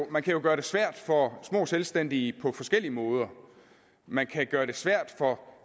man kan jo gøre det svært for små selvstændige virksomhedsejere på forskellig måde man kan gøre det svært for